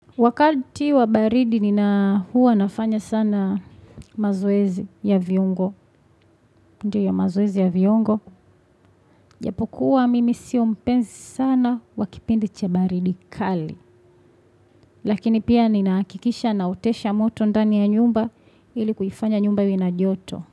Wakati wabaridi ni na huwa nafanya sana mazoezi ya viungo. Ndiyo ya mazoezi ya viungo. Japokuwa mimi sio mpenzi sana wakipindi chabaridi kali. Lakini pia ni nahakikisha naotesha moto ndani ya nyumba ili kuifanya nyumba iwe na joto.